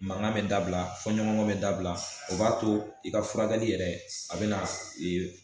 Mangan be dabila fɔɲɔnkɔ be dabila o b'a to i ka furakɛli yɛrɛ a be na ee